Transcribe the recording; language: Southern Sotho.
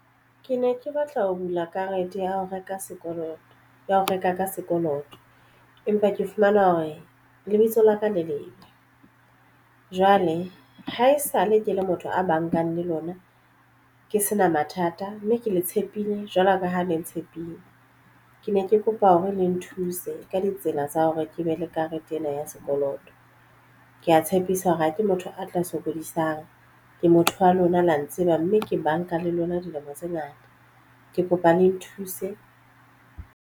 Ke ne ke batla ho bula karete ya ho reka sekoloto ya ho reka ka sekoloto, empa ke fumana hore lebitso la ka le lebe. Jwale ha esale ke le motho a bankang le lona ke sena mathata mme ke le tshepile jwalo ka ha le tshepile ke ne ke kopa hore le nthuse ka ditsela tsa hore ke be le karete ena ya sekoloto. Ke ya tshepisa hore ha ke motho a tla sokodisang ke motho wa lona la ntseba mme ke banka le lona dilemo tse ngata ke kopa le nthuse.